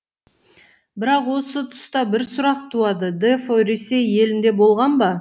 бірақ осы тұста бір сұрақ туады дефо ресей елінде болған ба